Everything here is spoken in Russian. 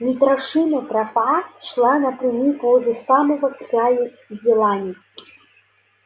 митрашина тропа шла напрямик возле самого края елани